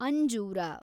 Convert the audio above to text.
ಅಂಜೂರ